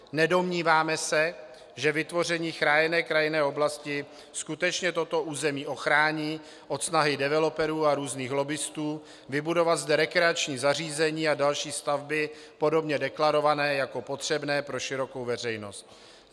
Nedomníváme se, že vytvoření chráněné krajinné oblasti skutečně toto území ochrání od snahy developerů a různých lobbistů vybudovat zde rekreační zařízení a další stavby, podobně deklarované jako potřebné pro širokou veřejnost.